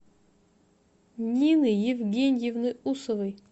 нины евгеньевны усовой